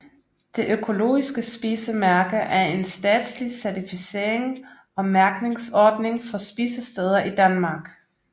Det Økologiske Spisemærke er en statslig certificering og mærkningsordning for spisesteder i Danmark